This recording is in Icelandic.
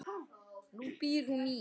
Nú býr hún í